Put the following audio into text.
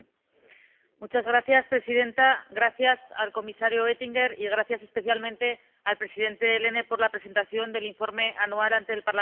Señora presidenta, gracias al comisario Oettinger y gracias especialmente al presidente Lehne por la presentación del Informe Anual ante el Parlamento Europeo.